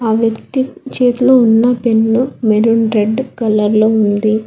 ఆ వ్యక్తి చేతిలో ఉన్న పెన్ను మెరూన్ రెడ్ కలర్ లో ఉంది.